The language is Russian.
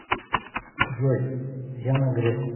джой яна греф